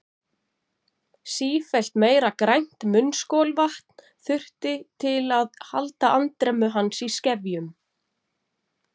Sífellt meira grænt munnskolvatn þurfti til að halda andremmu hans í skefjum.